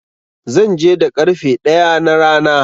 Zan je da ƙarfe ɗaya na rana.